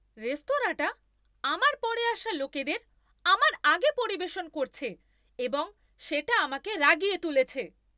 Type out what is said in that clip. রেস্তোরাঁটা আমার পরে আসা লোকেদের আমার আগে পরিবেশন করছে এবং সেটা আমাকে রাগিয়ে তুলেছে।